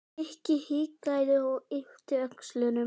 Nikki hikaði og yppti öxlum.